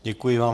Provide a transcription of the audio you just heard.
Děkuji vám.